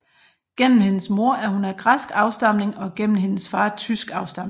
Gennem hendes mor er hun af græsk afstamning og gennem hendes far tysk afstamning